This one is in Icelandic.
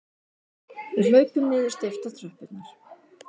Við hlaupum niður steyptar tröppurnar.